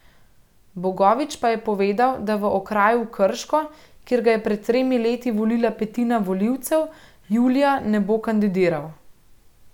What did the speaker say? Bogovič pa je povedal, da v okraju Krško, kjer ga je pred tremi leti volila petina volivcev, julija ne bo kandidiral.